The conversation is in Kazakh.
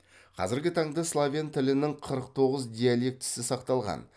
қазіргі таңда словен тілінің қырық тоғыз диалектісі сақталған